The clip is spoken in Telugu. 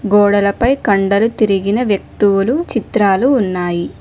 గోడలపై కండలు తిరిగిన వ్యక్తువులు చిత్రాలు ఉన్నాయి.